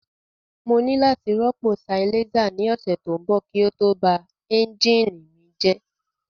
Mo ní láti rọ́pò silencer ní ọ̀sẹ̀ tó ń bọ̀ kí ó tó ba ẹ́ńjìnì mi rẹ́